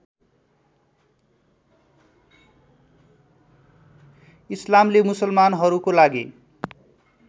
इस्लामले मुसलमानहरूको लागि